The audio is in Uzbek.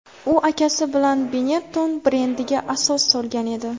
U akasi bilan Benetton brendiga asos solgan edi.